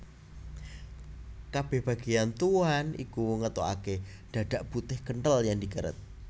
Kabèh bagéyan tuwuhan iki ngetokaké dhadhak putih kenthel yèn dikeret